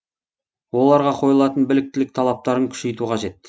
оларға қойылатын біліктілік талаптарын күшейту қажет